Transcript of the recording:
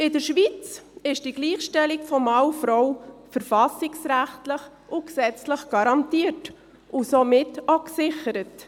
In der Schweiz ist die Gleichstellung von Mann und Frau verfassungsrechtlich und gesetzlich garantiert und somit auch gesichert.